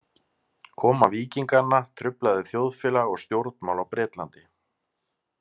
Koma Víkinganna truflaði þjóðfélag og stjórnmál á Bretlandi.